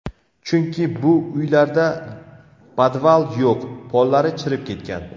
Chunki, bu uylarda podval yo‘q, pollari chirib ketgan.